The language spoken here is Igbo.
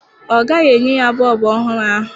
Ọ gaghị enye ya bọọbụ ọhụrụ ahụ.